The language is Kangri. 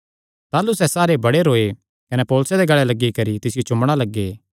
ताह़लू सैह़ सारे बड़े रौये कने पौलुसे दे गल़ें लग्गी करी तिसियो चूम्मणा लग्गे